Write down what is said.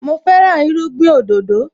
Mo fẹ́ràn irúgbìn òdòdó